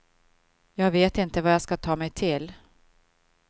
Jag vet inte vad jag ska ta mig till.